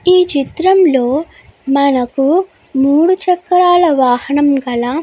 ఈ చిత్రం లో మనకు మూడు చక్రాల వాహనం గల --